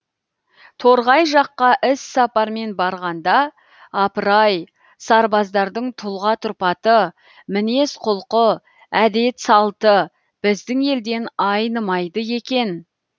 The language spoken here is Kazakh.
торғай жаққа іссапармен барғанда апырай сабаздардың тұлға тұрпаты мінез құлқы әдет салты біздің елден айнымайды екен